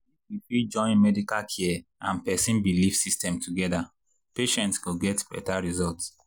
if we fit join medical care and person belief system together patients go get better results.